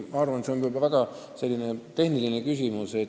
Ma arvan, et see on väga tehniline küsimus.